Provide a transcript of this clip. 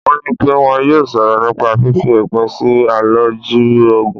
Wọ́n ní pẹ́ wọn yóò sọ̀rọ̀ nípa fífi òpin sí àlòjù Ògùn.